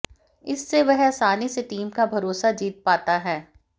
इससे वह आसानी से टीम का भरोसा जीत पाता है